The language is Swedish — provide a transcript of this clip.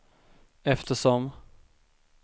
eftersom